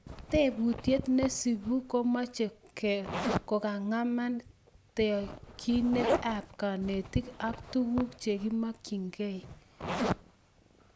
Tebutiet nesubu komache kegaman takyinet ab kanetik ak tuguk chegimakyingei